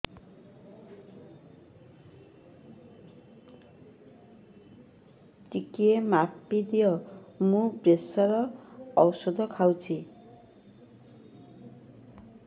ଟିକେ ମାପିଦିଅ ମୁଁ ପ୍ରେସର ଔଷଧ ଖାଉଚି